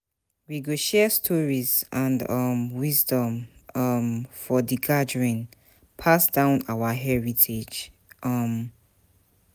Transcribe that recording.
We go share stories and um wisdom um for di gathering, pass down our heritage. um